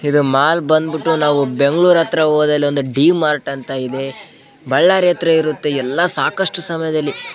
ಇದ್ ಮಾಲ್ ಬಂದ್ಬಿಟ್ಟು ನಾವ್ ಬೆಂಗಳೂರು ಹತ್ರ ಹೋದಲ್ಲಿ ಒಂದು ಡಿ ಮಾರ್ಟ್ ಅಂತ ಇದೆ ಬಳ್ಳಾರಿ ಹತ್ತಿರ ಇರುತ್ತೆ ಎಲ್ಲ ಸಾಕಷ್ಟು ಸಮಯದಲ್ಲಿ --